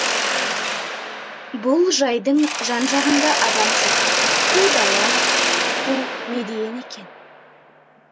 бұл жайдың жан жағында адам жоқ қу дала қу медиен екен